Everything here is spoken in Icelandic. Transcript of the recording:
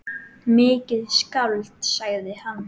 Mikið skáld, sagði hann.